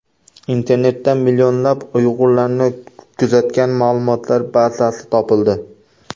Internetda millionlab uyg‘urlarni kuzatgan ma’lumotlar bazasi topildi.